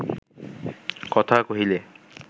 কথা কহিলে